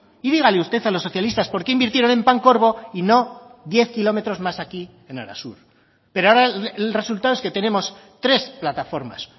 y dígale usted a los socialistas por qué invirtieron en pancorbo y no diez kilómetros más aquí en arasur pero ahora el resultado es que tenemos tres plataformas